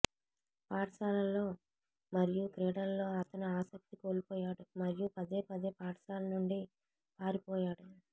పాఠశాలలో మరియు క్రీడలలో అతను ఆసక్తి కోల్పోయాడు మరియు పదేపదే పాఠశాల నుండి పారిపోయాడు